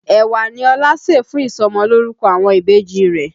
Ẹ̀wà ní Ọlá ṣè fún ìsọmọlórúkọ àwọn ìbejì rẹ̀